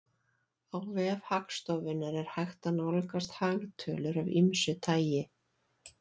Á vef Hagstofunnar er hægt að nálgast hagtölur af ýmsu tagi.